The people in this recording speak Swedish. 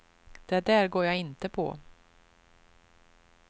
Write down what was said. Det där går jag inte på.